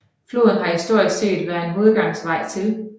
Floden har historisk set været en hovedadgangsvej til